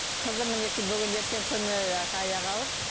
қызым мінекей бүгін ертең күні аяғы ауыр